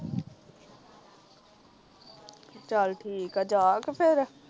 ਚਾਲ ਠੀਕ ਆ ਜਾ ਆ ਕੇ ਫੇਰ